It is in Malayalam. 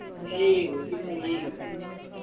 ഏയ് ഓന്ക്ക് ഇന്ന അറിയേ എയ്യുല്ലാ.